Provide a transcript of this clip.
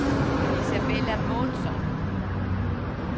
Isabella Månsson